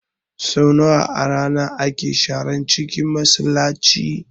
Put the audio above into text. Sau nawa a rana ake sharan cinkin Masallaci?